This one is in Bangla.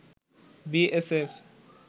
বিএসএফ